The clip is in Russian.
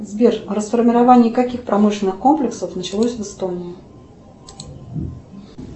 сбер расформирование каких промышленных комплексов началось в эстонии